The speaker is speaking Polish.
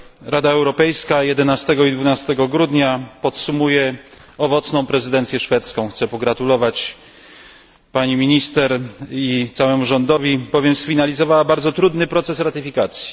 Rada Europejska 11 i 12 grudnia podsumuje owocną prezydencję szwedzką. Chcę pogratulować pani minister i całemu rządowi, bowiem sfinalizowali bardzo trudny proces ratyfikacji.